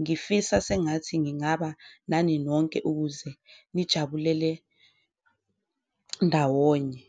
ngifisa sengathi ngingaba nani nonke ukuze nijabulele ndawonye.